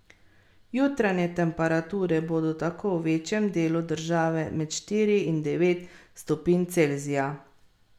Jutranje temperature bodo tako v večjem delu države med štiri in devet stopinj Celzija.